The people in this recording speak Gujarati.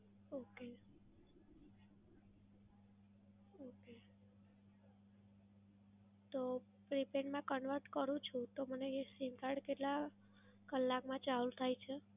Okay, okay. તો prepaid માં convert કરું છું તો મને એ SIM card કેટલા કલાક માં ચાલુ થાય છે?